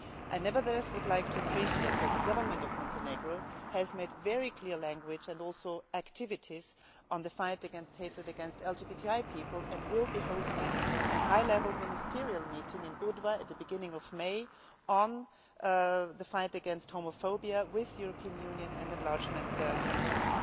I would nevertheless like to say that I appreciate that the government of Montenegro has made very clear statements and also taken action in the fight against hatred against LGBTI people, and will be hosting a high level ministerial meeting in Budva at the beginning of May on the fight against homophobia with European Union and enlargement countries.